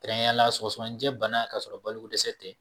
Kɛrɛnkɛrɛnneyala sɔgɔsɔgɔnicɛ bana ka sɔrɔ balo ko dɛsɛ tɛ